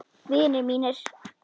Vinir mínir.